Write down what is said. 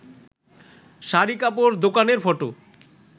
শাড়ি কাপড় দোকানের ফটো